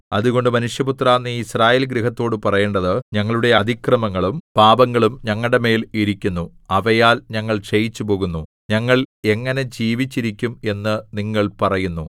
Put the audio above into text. അതുകൊണ്ട് മനുഷ്യപുത്രാ നീ യിസ്രായേൽ ഗൃഹത്തോട് പറയേണ്ടത് ഞങ്ങളുടെ അതിക്രമങ്ങളും പാപങ്ങളും ഞങ്ങളുടെമേൽ ഇരിക്കുന്നു അവയാൽ ഞങ്ങൾ ക്ഷയിച്ചുപോകുന്നു ഞങ്ങൾ എങ്ങനെ ജീവിച്ചിരിക്കും എന്ന് നിങ്ങൾ പറയുന്നു